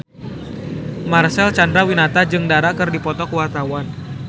Marcel Chandrawinata jeung Dara keur dipoto ku wartawan